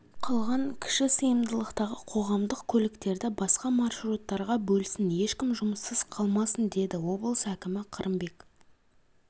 қалған кіші сыйымдылықтағы қоғамдық көліктерді басқа маршруттарға бөлсін ешкім жұмыссыз қалмасын деді облыс әкімі қырымбек